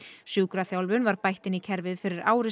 sjúkraþjálfun var bætt inn í kerfið fyrir ári